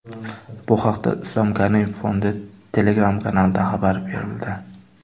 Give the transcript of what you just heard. Bu haqda Islom Karimov fondi Telegram-kanalida xabar berildi .